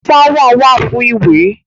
Ṣáwà wà fún ìwẹ̀.